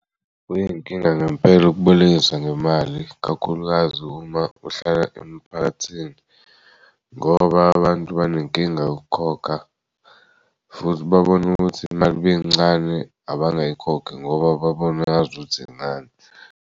Kuyinkinga ngempela ukubolekisa ngemali kakhulukazi uma uhlala emphakathini ngoba abantu banenkinga yokukhokha futhi babone ukuthi imali miyincane abangayikhokhi ngoba babone ngazuthi incane.